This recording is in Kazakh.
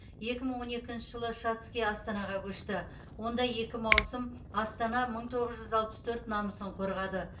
екі мың он екінші жылы шацкий астанаға көшті онда екі маусым астана мың тоғыз жүз алпыс төрт намысын қорғады